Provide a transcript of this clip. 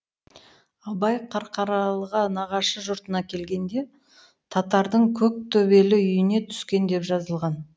абай қарқаралыға нағашы жұртына келгенде татардың көктөбелі үйіне түскен деп жазылған